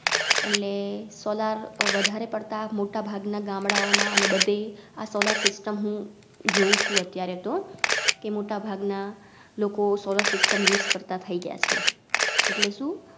એટલે Solar વધારે પડતાં મોટા ભાગના ગામડાઓ માં અને બધે આ Solar system હું જોઉ છું અત્યારે તો કે મોટા ભાગના લોકો Solar systemUse કરતાં થાઈ ગયા છે એટલે શું?